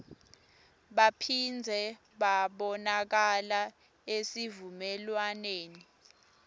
baphindze babonakala esivumelwaneni